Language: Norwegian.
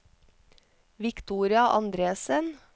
Victoria Andresen